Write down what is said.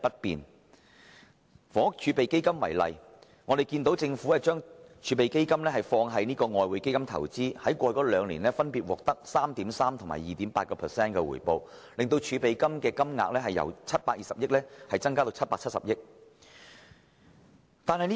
以房屋儲備金為例，政府把儲備金投資於外匯基金，在過去兩年分別獲得 3.3% 及 2.8% 的回報，令儲備金的金額由720億元增加至770億元。